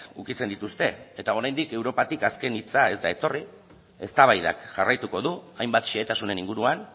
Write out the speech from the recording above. ukitzen dituzte eta oraindik europatik azken hitza ez da etorri eztabaidak jarraituko du hainbat xehetasunen inguruan